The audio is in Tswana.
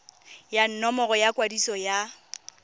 ya nomoro ya kwadiso ya